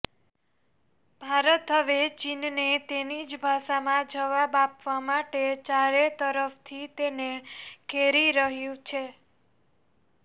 ભારત હવે ચીનને તેની જ ભાષામાં જવાબ આપવા માટે ચારેતરફથી તેને ઘેરી રહ્યું છે